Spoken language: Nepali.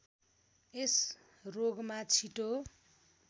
यस रोगमा छिटो